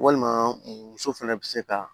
Walima muso fɛnɛ bɛ se ka